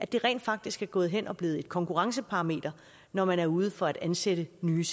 det rent faktisk er gået hen og er blevet et konkurrenceparameter når man er ude for at ansætte nye